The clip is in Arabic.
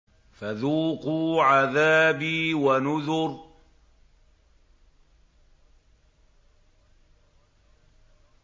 فَذُوقُوا عَذَابِي وَنُذُرِ